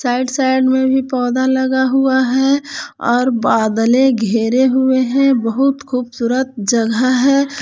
Side side में भी पौधा लगा हुआ है और बदले घेरे हुए हैं बहुत खूबसूरत जगह है ।